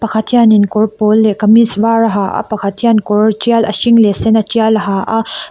pakhat hianin kawr pawl leh kamis var a ha a pakhat hian kawr tial a hring leh a sen a tial a ha a.